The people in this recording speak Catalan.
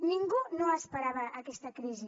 ningú no esperava aquesta crisi